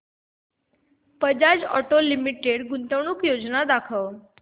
Bajaj Auto Limited गुंतवणूक योजना दाखव